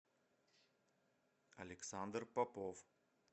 александр попов